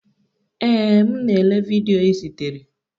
Ee, m na-ele vidiyo ị zitere.